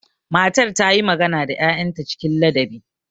Matar ta yi magana da 'ya'yanta cikin ladabi.